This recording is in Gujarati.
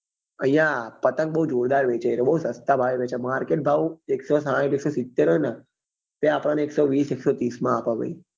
અહિયાં પતંગ બઉ જોરદાર વેચે છે એ બઉ સસ્તા ભાવે વેંચે market ભાવ એકસો સાહીંઠ એકસો સિત્તેર હોય ને ત્યાં આપણને એકસો વીસ એકસો ત્રીસ એ આપે ભાઈઓહો